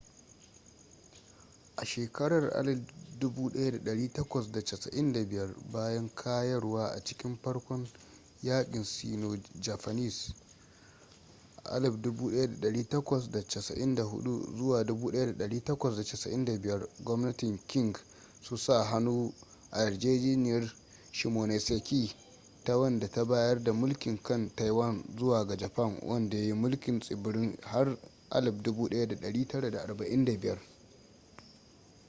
a shekarar 1895 bayan kayarwa a cikin farkon yaƙin sino-japanese 1894-1895 gwamnatin qing su sa-hannu a yarjejeniyar shimonoseki ta wanda ta bayar da mulkin kan taiwan zuwa ga japan wanda ya yi mulkin tsibirin har 1945